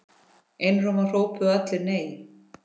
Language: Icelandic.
Einróma hrópuðu allir: NEI!